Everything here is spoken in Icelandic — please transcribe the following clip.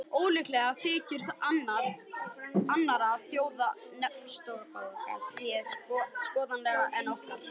Ólíklegt þykir að annarra þjóða neftóbak sé skaðlegra en okkar.